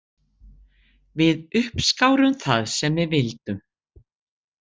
Við uppskárum það sem við vildum.